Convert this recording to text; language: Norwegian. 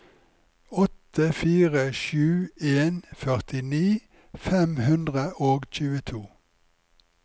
åtte fire sju en førtini fem hundre og tjueto